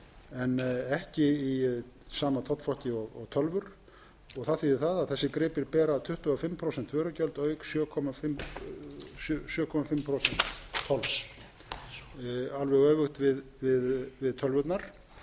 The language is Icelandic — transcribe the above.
en ekki í sama tollflokki og tölvur það þýðir það að þessir gripir bera tuttugu og fimm prósent vörugjöld auk sjö og hálft prósent tolls alveg öfugt við tölvurnar þá er rétt að rifja